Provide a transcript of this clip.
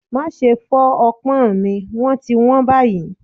Máa ṣe fọ́ ọpọ́n mi wón ti wón báyìí.